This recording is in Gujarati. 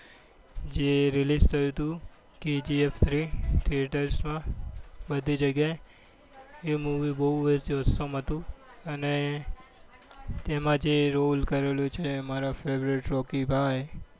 જે release થયું હતું K. G. F. Three theatre માં બધી જગ્યાએ એ movie બહુ જ osam હતું અને તેમાં જે rol કરેલો છે એ અમારા favorite રોકી ભાઈ.